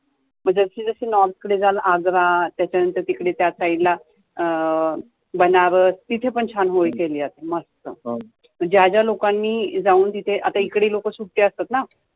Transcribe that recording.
म जसं जसं north कडे जाल आग्रा त्याच्यानंतर तिकडे त्या side ला अं बनारस, तिथे पण छान होळी खेळली जाते मस्त ज्या ज्या लोकांनी जाऊन तिथे, आता इकडे लोकं सुट्ट्या असतात ना